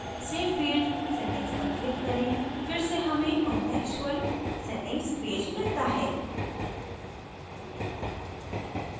save field settings पर click करें फिर से हमें contextual settings पेज मिलता है